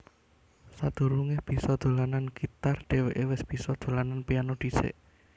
Sadurungé bisa dolanan gitar dhèwéké wis bisa dolanan piano dhisik